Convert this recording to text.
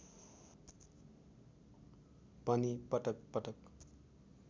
पनि पटक पटक